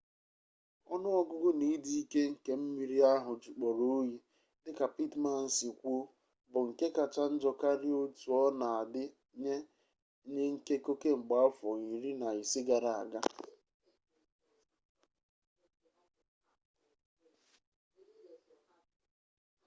onu-ogugu na idi-ike nke mmiri ahu jukporo oyi dika pittman si kwuo bu nke kacha njo karia otu ona-adi nye nyi nkeko kemgbe afo 15 gara-aga